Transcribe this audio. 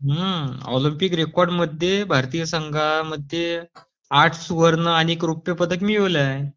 Olympic रेकॉर्डमध्ये भारतातील संघामध्ये आठ सुवर्ण आणि अनेक रौप्य पदक मिळवले आहे